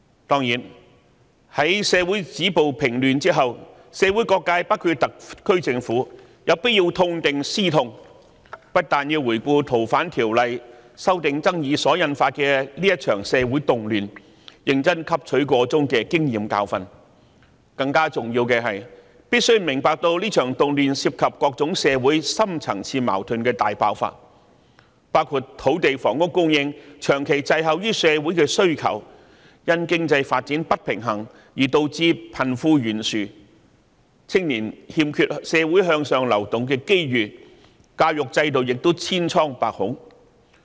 當然，在止暴平亂之後，社會各界——包括特區政府——必須痛定思痛，不但要回顧《逃犯條例》修訂爭議所引發的這場社會動亂，認真汲取箇中經驗和教訓，更重要的是，大家必須明白這場動亂涉及社會上各種深層次矛盾的大爆發，包括土地和房屋供應長期滯後於社會的需求、因經濟發展不平衡而導致貧富懸殊、年青人缺乏向上流動的機會，而教育制度亦千瘡百孔。